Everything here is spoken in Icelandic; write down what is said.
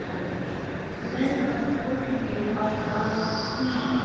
Benda fólki á að hringja